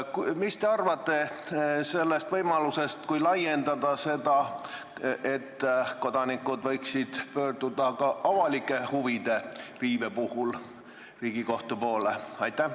Mis te arvate sellest, kui laiendada seda võimalust nii, et kodanikud võiksid pöörduda Riigikohtu poole ka avalike huvide riive korral?